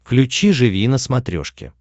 включи живи на смотрешке